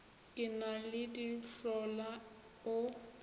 ke na le dihlola o